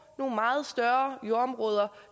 nogle meget større jordområder